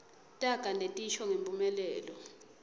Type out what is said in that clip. taga netisho ngemphumelelo